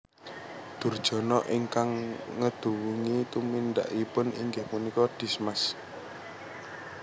Durjana ingkang ngeduwungi tumindakipun inggih punika Dismas